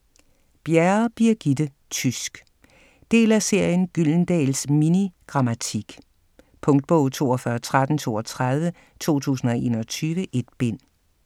Bjerre, Birgitte: Tysk Del af serien Gyldendals mini-grammatik. Punktbog 421332 2021. 1 bind.